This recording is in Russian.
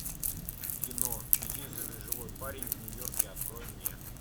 кино единственный живой парень в нью йорке открой мне